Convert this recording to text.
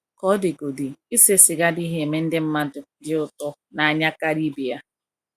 Ka ọ dịgodị, ise siga adịghị eme ndị mmadụ di ụto na anya karia ibe ya.